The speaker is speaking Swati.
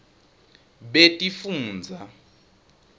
betifundza